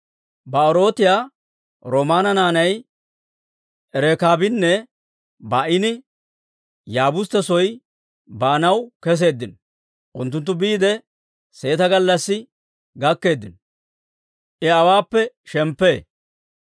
Ba'erootiyaa Rimoona naanay Rekaabinne Ba'aani Yaabustte soo baanaw keseeddino; unttunttu biide seeta gallassi gakkeeddino; I awaappe shemppee.